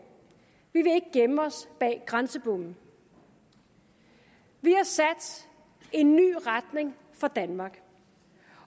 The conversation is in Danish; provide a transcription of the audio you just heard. vi vil ikke gemme os bag grænsebomme vi har sat en ny retning for danmark